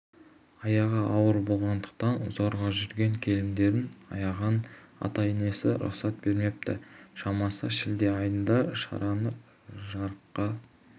әйтеуір ата-енесі есті жандар олар жас келінді шошынтпай бәрі де жақсы болады деп тыныштандырып қояды